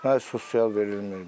Nə sosial verilmir.